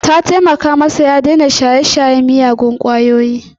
Ta taimaka masa ya yaƙi shaye-shayen miyagun kwayoyi.